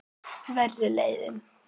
Verri leiðin.